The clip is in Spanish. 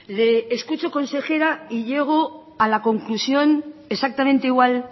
le escucho consejera y llego a la conclusión exactamente igual